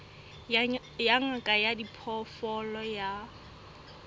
ya ngaka ya diphoofolo ya